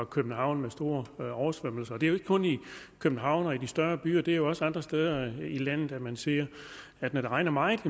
københavn med store oversvømmelser og det er jo ikke kun i københavn og i de større byer det er også andre steder i landet man ser at når det regner meget